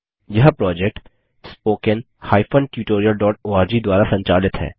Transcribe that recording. यह project httpspoken tutorialorg द्वारा संचालित है